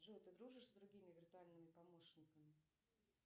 джой ты дружишь с другими виртуальными помощниками